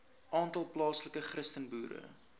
aantal plaaslike christenboere